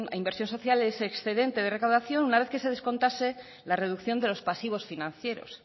inversión social ese excedente de recaudación una vez que se descontase la reducción de los pasivos financieros